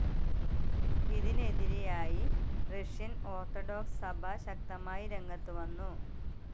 ഇതിനെതിരായി Russian orthodox സഭ ശക്തമായി രംഗത്ത് വന്നു.